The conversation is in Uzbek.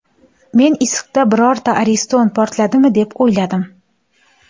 Men issiqda birorta ariston portladimi deb o‘yladim.